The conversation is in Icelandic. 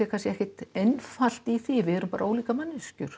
ekki einfalt í því við erum bara ólíkar manneskjur